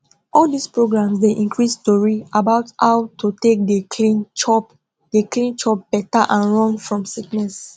all dis programs dey increase tori about how to take dey clean chop dey clean chop better and run fom sickness